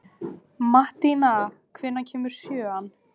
Mattína, hvenær kemur sjöan?